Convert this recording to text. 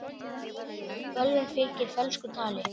Bölvun fylgir fölsku tali.